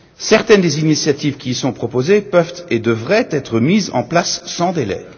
Certaines des initiatives qui y sont proposées peuvent et devraient être mises en place sans délai.